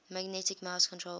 magnetic mouse controlled